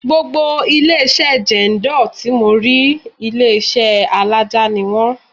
Gbogbo ilé-iṣẹ́ Jendol tí mò ń rí, ilé alaja ni wón.